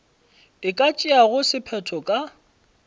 e ka tšeago sephetho ka